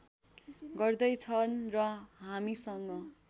गर्दै छन् र हामीसँग